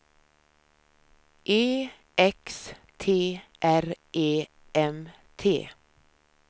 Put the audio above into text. E X T R E M T